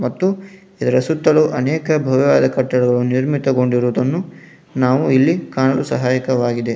ಮತ್ತು ಇದರ ಸುತ್ತಲು ಅನೇಕ ಭವ್ಯವಾದ ಕಟ್ಟಡಗಳು ನಿರ್ಮಿತಕೊಂಡಿರುವುದನ್ನು ನಾವು ಇಲ್ಲಿ ಕಾಣಲು ಸಹಾಯಕವಾಗಿದೆ.